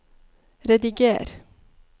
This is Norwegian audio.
rediger